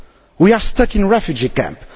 we are stuck in a refugee camp